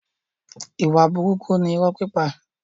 Ìwà burúkú ni irọ́ pípa.